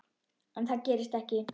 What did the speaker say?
En það gerist ekki.